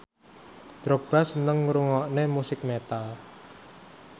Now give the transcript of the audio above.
Drogba seneng ngrungokne musik metal